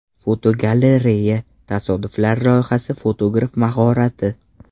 Fotogalereya: Tasodiflar loyihasi fotograf mahorati.